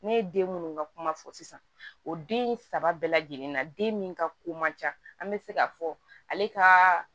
Ne ye den munnu ka kuma fɔ sisan o den saba bɛɛ lajɛlen na den min ka ko man ca an bɛ se k'a fɔ ale ka